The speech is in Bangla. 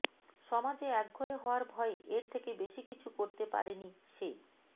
সমাজে একঘরে হওয়ার ভয়ে এর থেকে বেশি কিছু করতে পারেনি সে